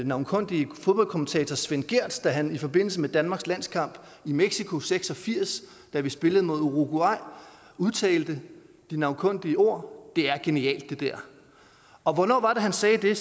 navnkundige fodboldkommentator svend gehrs da han i forbindelse med danmarks landskamp i mexico nitten seks og firs da vi spillede mod uruguay udtalte de navnkundige ord det er genialt det der og hvornår var det han sagde det